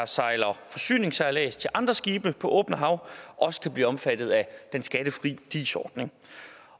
sejler forsyningssejlads til andre skibe på åbent hav også kan blive omfattet af den skattefri dis ordning